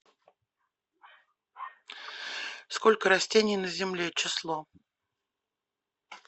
сколько растений на земле число